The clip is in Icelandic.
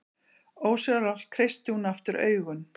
Ósjálfrátt kreistir hún aftur augun.